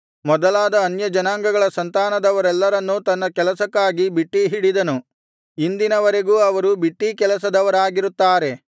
ಮೊದಲಾದ ಅನ್ಯಜನಾಂಗಗಳ ಸಂತಾನದವರೆಲ್ಲರನ್ನು ತನ್ನ ಕೆಲಸಕ್ಕಾಗಿ ಬಿಟ್ಟೀಹಿಡಿದನು ಇಂದಿನ ವರೆಗೂ ಅವರು ಬಿಟ್ಟೀಕೆಲಸದವರಾಗಿರುತ್ತಾರೆ